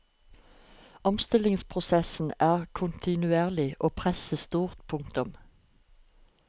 Omstillingsprosessen er kontinuerlig og presset stort. punktum